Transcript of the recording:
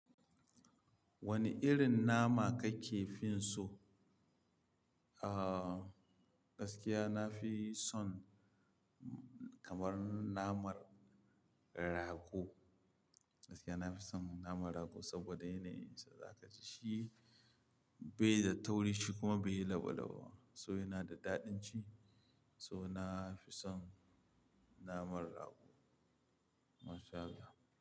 Wane irin nama kake fin so? Ah, gaskiya na fi son kamar naman rago. Gaskiya na fi son naman rago saboda yanayin sa, za ka ji shi bai da tauri shi kuma bai yi labalaba ba. So yana da daɗin ci, so na fi son naman rago. MashAllah.